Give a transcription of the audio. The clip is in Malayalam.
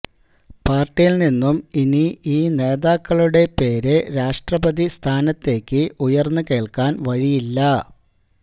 പാർട്ടിയിൽ നിന്നും ഇനി ഈ നേതാക്കളുടെ പേര് രാഷ്ട്രപതി സ്ഥാനത്തേക്ക് ഉയർന്നു കേൾക്കാൻ വഴിയില്ല